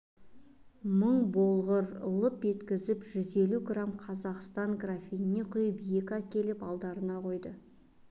мың болғыр лып еткізіп жүз елу грамм қазақстан графинге құйып екі әкеліп алдарына қойды